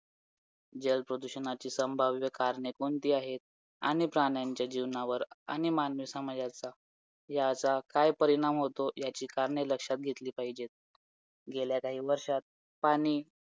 आणि Negative marking आहे म्हटल्यावरती आपल्याला तुका मारायचा नाही आहे तुका मारला की आपण negative marking मधे जाणार आहोत हे शभर टके माहीत आहे जेवढं येत तेवढा आपल्याला attempt करायच